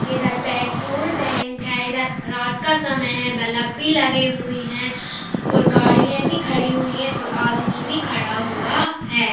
इधर petrol tank है इधर रात का समय है बल्ब भी लगे हुए हैं और गाड़िया भी खड़ी हुई हैं और आदमी भी खड़ा हुआ है|